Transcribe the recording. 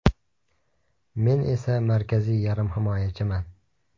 Men esa markaziy yarim himoyachiman.